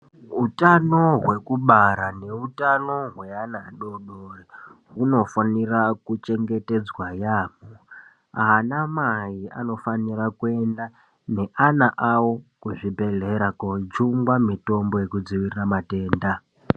Utano hwekubara neutano hweana adodori uofane kuchengetedzwa yamho anamai unofanire kuende neana awo kuzvibhehlera kochungwa mitombo yekudzivirira matenda